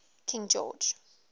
king george